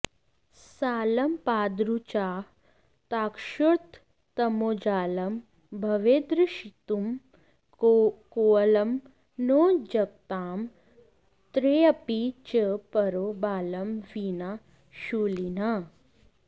सालं पादरुचाहताश्रुततमोजालं भवेद्रक्षितुं कोऽलं नो जगतां त्रयेऽपि च परो बालं विना शूलिनः